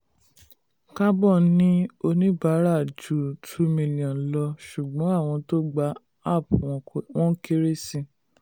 carbon ní oníbàárà ju two million lọ ṣùgbọ́n àwọn tó gba app wọn kere sí i.